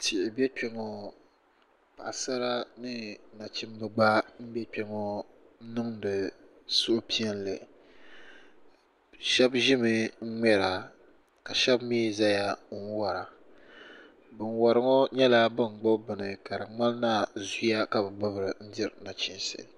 Tihi be kpe ŋɔ paɣasara ni nachimba gba be kpe ŋɔ niŋdi suhupiɛlli shɛb ʒimi n ŋmera ka shɛb zaya n wara ban wari ŋɔ nyɛla ban gbubi bini ka di ŋmani la zuya ka bi gbubi n diri nachinsi.